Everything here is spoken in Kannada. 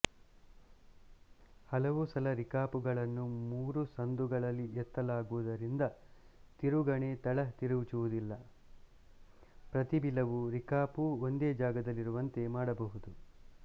ಹಲವು ಸಲ ರಿಕಾಪುಗಳನ್ನು ಮೂರು ಸಂದುಗಳಲ್ಲಿ ಎತ್ತಲಾಗುವುದರಿಂದ ತಿರುಗಣಿ ತಳ ತಿರುಚುವುದಿಲ್ಲ ಪ್ರತಿ ಬಿಲವೂ ರಿಕಾಪು ಒಂದೇ ಜಾಗದಲ್ಲಿರುವಂತೆ ಮಾಡಬಹುದು